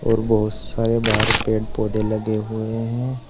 और बहुत सारे बाहर पेड़ पौधे लगे हुए हैं।